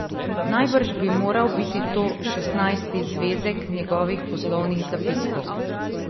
Najbrž bi moral biti to šestnajsti zvezek njegovih poslovnih zapiskov.